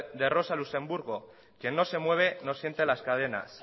de rosa luxemburgo quién no se mueve no siente las cadenas